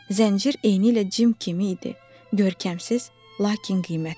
Zəncir eynilə Cim kimi idi: görkəmsiz, lakin qiymətli.